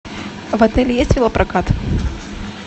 в отеле есть велопрокат